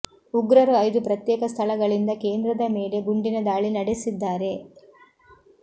ಉಗ್ರರು ಐದು ಪ್ರತ್ಯೇಕ ಸ್ಥಳಗಳಿಂದ ಕೇಂದ್ರದ ಮೇಲೆ ಗುಂಡಿನ ದಾಳಿ ನಡೆಸಿದ್ದಾರೆ